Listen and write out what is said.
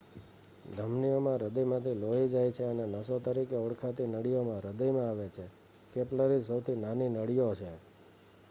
ધમનીઓ માં હૃદયમાંથી લોહી જાય છે અને નસો તરીકે ઓળખાતી નળીઓમાં હૃદયમાં આવે છે કેપિલરીઝ સૌથી નાની નળીઓ છે